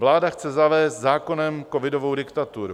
Vláda chce zavést zákonem covidovou diktaturu.